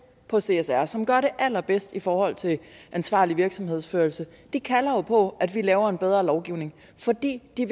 på csr som gør det allerbedst i forhold til ansvarlig virksomhedsførelse kalder på at vi laver en bedre lovgivning fordi de